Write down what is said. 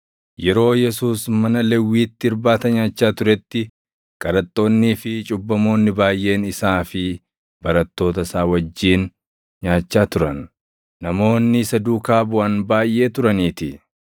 Yeroo Yesuus mana Lewwiitti irbaata nyaachaa turetti, qaraxxoonnii fi cubbamoonni baayʼeen isaa fi barattoota isaa wajjin nyaachaa turan; namoonni isa duukaa buʼan baayʼee turaniitii.